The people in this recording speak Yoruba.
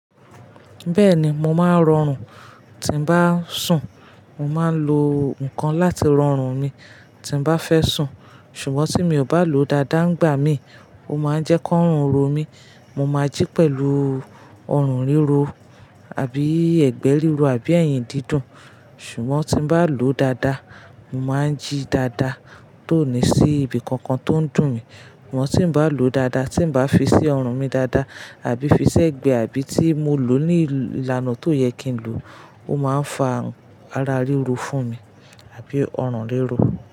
Bẹ́ẹ̀ni, mo máa ń rọrùn tí ń bá ń sùn. Mo máa ń lo nǹkan láti rọrùn mi tí ń bá fẹ́ sùn. Ṣùgbọ́n tí mi ò bá lòó dáadáa ńgbà míì, ó máa ń jẹ́ kọ́rùn ro mí. Mo máa jí pẹ̀lú ọrùn ríro, àbí ẹgbẹ́ rírọ, àbí ẹ̀yìn dídùn. Ṣùgbọ́n tí n bá lòó dáadáa, mo máa ń jí dáadáa, tóò ní sí ibi kankan tó ń dùn mí. Àmọ́ tí ŉ bá lòó dáadáa, tí ŉ bá fi sí ọrùn mi dáadáa, àbí fi sí ẹ̀gbẹ́, àbí tí mo lòó ní ìlànà tóò yẹ kí n lòó, ó máa ń fa àrùn ara ríro fún mi àbí ọrùn ríro.